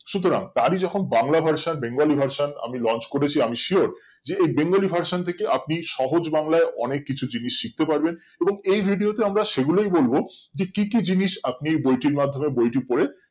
সুতারং তারই যখন Bangla versionbengali version আমি launch করেছি আমি sure যে এই bengali version থেকে আপনি সহজ বাংলায় অনেক কিছু জিনিস শিখতে পারবেন এবং এই video তে আমরা সেগুলোই বলবো যে কি কি জিনিস আপনি বইটির মাধ্যমে বইটি পরে